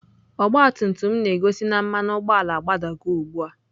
Ọgabtumtum m na-gosị na mmanu ugboala a gbadago ugbua.